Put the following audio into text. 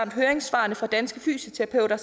og høringssvarene fra danske fysioterapeuter